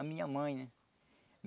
A minha mãe, né?